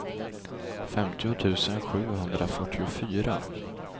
femtio tusen sjuhundrafyrtiofyra